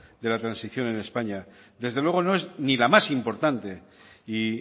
de la transición en españa desde luego no es ni la más importante y